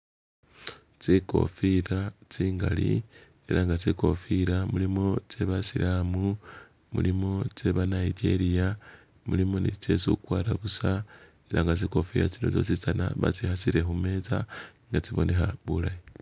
tsikofila tsingali, era nga tsikofila mulimo tsye basilamu, mulimo tsye ba Nigeria, mulimo ni tsye isi okwara busa era nga tsikofila tsino tsyosi tsana batsihasile humeza ela tsiboneha bulayi